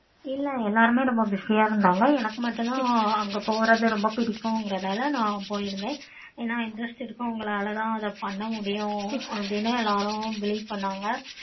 இல்ல எல்லாருமே ரொம்ப busy ஆஹ் இருந்தாங்க. எனக்கும் மட்டும் தான் அங்க போறது ரொம்ப பிடிக்கும். அதுனால நா போயிருந்தேன். ஆனா அத interest எடுத்து உங்களால தான் பண்ண முடியும். அப்படின்னு எல்லாரும் believe பண்ணாங்க.